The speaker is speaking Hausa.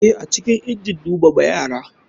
Eh, acikin injin numama yara.